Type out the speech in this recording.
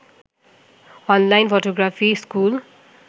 online photography school